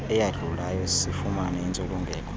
eyadlulayo sifumane intsulungeko